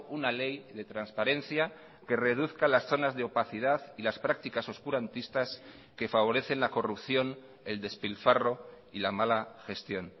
una ley de transparencia que reduzca las zonas de opacidad y las prácticas oscurantistas que favorecen la corrupción el despilfarro y la mala gestión